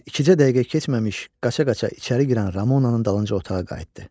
Heç ikicə dəqiqə keçməmiş qaça-qaça içəri girən Ramonan dalınca otağa qayıtdı.